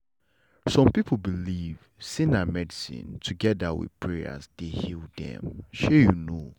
some people believe say na medicine together with prayers dey heal dem shey you know